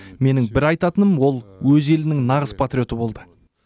менің бір айтатыным ол өз елінің нағыз патриоты болды